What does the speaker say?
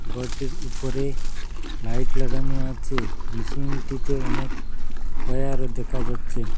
ঘরটির উপরে লাইট লাগানো আচে মেশিনটিতে অনেক ওয়্যারও দেকা যাচ্চে।